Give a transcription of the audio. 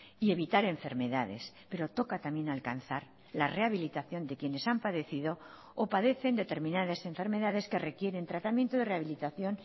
y evitar enfermedades pero toca también alcanzar la rehabilitación de quienes han padecido o padecen determinadas enfermedades que requieren tratamiento de rehabilitación